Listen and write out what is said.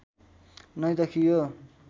नै देखियो